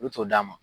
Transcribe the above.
U t'o d'a ma